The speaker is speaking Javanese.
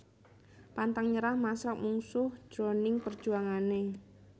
Pantang nyerah masrang mungsuh jroning perjuangané